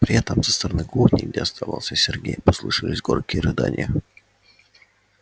при этом со стороны кухни где оставался сергей послышались горькие рыдания